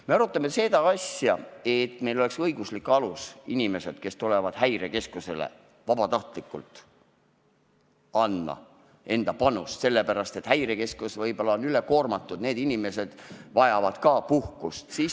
Me arutame seda asja, et meil oleks õiguslik alus inimeste jaoks, kes tulevad Häirekeskusesse vabatahtlikult panust andma, sest Häirekeskus on võib-olla üle koormatud ja sealsed inimesed vajavad samuti puhkust.